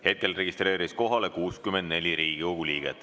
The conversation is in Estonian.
Hetkel registreerus kohalolijaks 64 Riigikogu liiget.